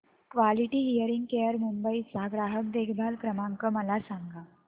quality Hearing Care Mumbai चा ग्राहक देखभाल क्रमांक मला सांगा